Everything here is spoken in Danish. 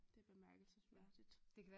Det er bemærkelsesværdigt